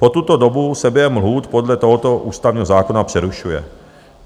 Po tuto dobu se běh lhůt podle tohoto ústavního zákona přerušuje.